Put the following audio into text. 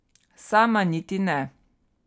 Sama niti ne.